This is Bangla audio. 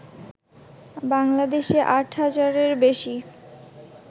বাংলাদেশে আট হাজারের বেশি